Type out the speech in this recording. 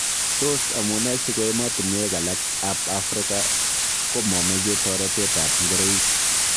Tos amune siko emotunwek alak ab Afrika komomeche toretet ab ngoroik?